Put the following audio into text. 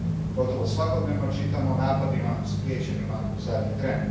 Gotovo svakodnevno čitamo o napadima spriječenim u zadnji tren.